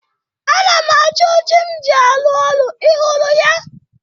Ana m achọ oche m ji arụ ọrụ. Ị hụrụ ya?